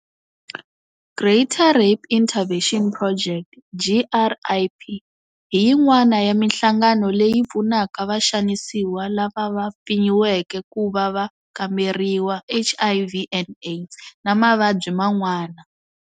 Greater Rape Intervention Project, GRIP, hi yin'wana ya mihlangano leyi yi pfunaka vaxanisiwa lava va mpfinyiweke ku va va kamberiwa HIV and AIDS na mavabyi man'wana.